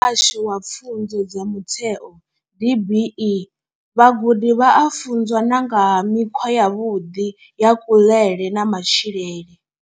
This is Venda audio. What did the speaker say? U ya nga vha Muhasho wa pfunzo dza mutheo DBE, vhagudi vha a funzwa na nga ha mikhwa yavhuḓi ya kuḽele na matshilele.